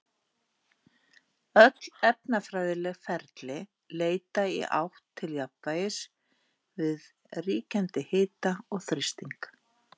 Öll efnafræðileg ferli leita í átt til jafnvægis við ríkjandi hita og þrýsting.